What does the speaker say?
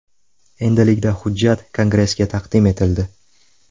Endilikda hujjat Kongressga taqdim etildi.